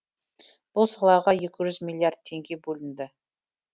бұл салаға екі жүз миллиард теңге бөлінді